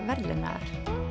verðlaunaðar